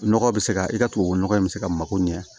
Nɔgɔ bɛ se ka i ka tubabunɔgɔ in bɛ se ka mago ɲɛ